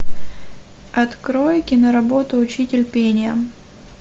открой киноработу учитель пения